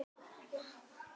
Í stað Öldu